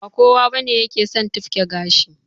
Ba kowa bane yake son tufke gashi